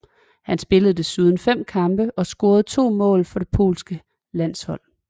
Han spillede desuden fem kampe og scorede to mål for det polske landshold